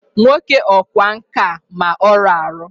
Nwoke ọkwá nkà a ma ọrụ arụ!